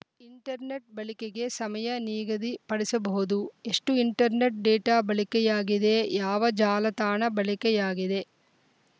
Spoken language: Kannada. ಇಂಟರ್‌ನೆಟ್‌ ಬಳಿಕೆಗೆ ಸಮಯ ನಿಗದಿ ಪಡಿಸಬಹುದು ಎಷ್ಟುಇಂಟರ್‌ನೆಟ್‌ ಡೇಟಾ ಬಳಿಕೆಯಾಗಿದೆ ಯಾವ ಜಾಲತಾಣ ಬಳಿ ಕೆಯಾಗಿದೆ